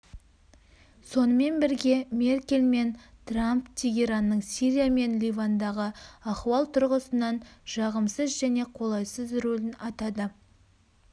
сонымен бірге меркель мен трамп тегеранның сирия мен ливандағы ахуал тұрғысынан жағымсыз және қолайсыз рөлін атады